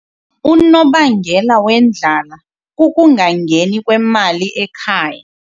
Unobangela wendlala kukungangeni kwemali ekhaya.